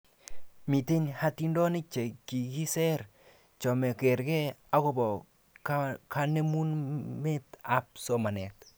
Miten hatindonik chekikiser chemakerke akobo kanemumetab somanet